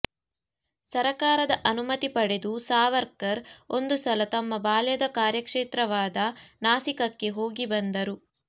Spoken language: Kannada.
ಸರಕಾರದ ಅನುಮತಿ ಪಡೆದು ಸಾವರ್ಕರ್ ಒಂದು ಸಲ ತಮ್ಮ ಬಾಲ್ಯದ ಕಾರ್ಯಕ್ಷೇತ್ರವಾದ ನಾಸಿಕಕ್ಕೆ ಹೋಗಿಬಂದರು